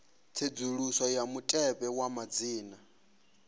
tsedzuluso ya mutevhe wa madzina